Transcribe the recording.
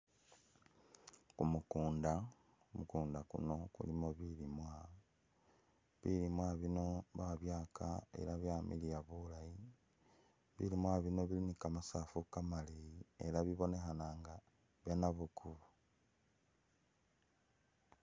Kumukunda, kumukunda kuno kulimo bilimwa ,bilimwa bino babyaka ela byamiliya bulayi, bilimwa bino bili ni kamasafu kamaleyi ela bibonekhana nģa byanabukubo